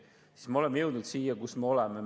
Nüüd me oleme jõudnud siia, kus me oleme.